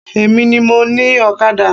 Emi ni mo ni Ọ̀kadà